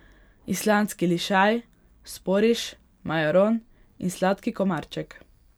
Islandski lišaj, sporiš, majaron in sladki komarček.